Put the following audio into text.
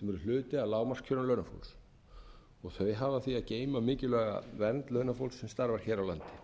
sem eru hluti af lágmarkskjörum launafólks þau hafa því að geyma mikilvæga vernd launafólks sem starfar hér á landi